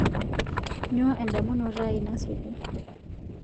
nyoo endamunoto aai nasuju